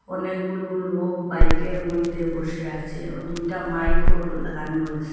অনেকগুলো লোক বাইকের মইধ্যে বসে আছে ও দুইটা মাইকওর লাগানো রয়েসে।